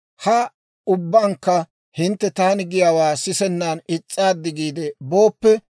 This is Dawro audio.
«Ha ubbankka hintte taani giyaawaa sisennan is's'aaddi giide booppe,